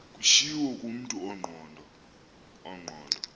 kutshiwo kumntu ongqondo